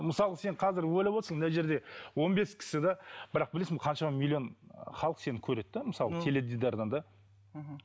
мысалға сен қазір ойлап отырсың мына жерде он бес кісі де бірақ білесің бе қаншама миллион халық сені көреді де мысалы теледидардан да мхм